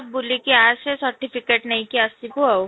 ବୁଲୁ କି ଆସେ certificate ନେଇକି ଆସିବୁ ଆଉ